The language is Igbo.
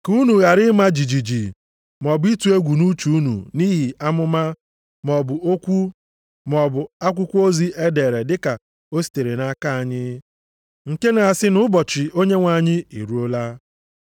Ka unu ghara ịma jijiji maọbụ ịtụ egwu nʼuche unu nʼihi amụma, maọbụ okwu maọbụ akwụkwọ ozi e dere dị ka o sitere nʼaka anyị, nke na-asị nʼụbọchị Onyenwe anyị eruola.